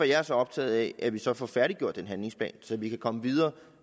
jeg er så optaget af at vi så får færdiggjort den handlingsplan så vi kan komme videre